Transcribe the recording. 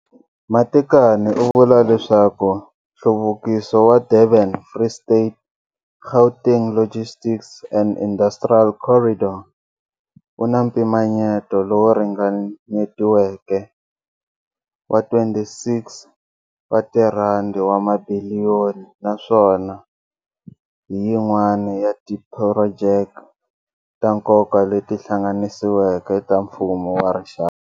Matekane u vula leswaku nhluvukiso wa Durban-Free State-Gauteng Logistics and Industrial Corridor wu na mpimanyeto lowu ringanyetiweke wa R26 wa mabiliyoni naswona hi yin'wana ya tiphurojeke ta nkoka leti hlanganisiweke ta mfumo wa rixaka.